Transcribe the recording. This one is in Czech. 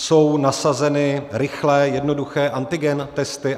Jsou nasazeny rychlé, jednoduché antigen testy?